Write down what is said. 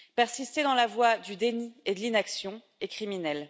Persister dans la voie du déni et de l'inaction est criminel.